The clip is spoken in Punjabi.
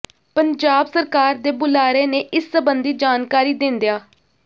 ਪੰਜਾਬ ਸਰਕਾਰ ਦੇ ਬੁਲਾਰੇ ਨੇ ਇਸ ਸਬੰਧੀ ਜਾਣਕਾਰੀ ਦਿੰਦਿਆਂ